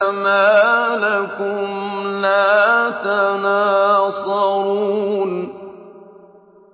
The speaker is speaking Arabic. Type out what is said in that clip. مَا لَكُمْ لَا تَنَاصَرُونَ